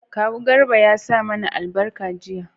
kawu garba ya sa mana albarka jiya